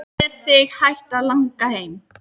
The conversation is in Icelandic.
Er þig hætt að langa heim?